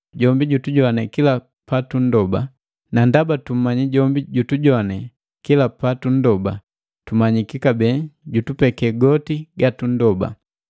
Jombi jutujoane kila patunndoba; na ndaba tumanya jombi jutujoane kila patunndoba, tumanyiki kabee jutupeki goti ga tunndoba.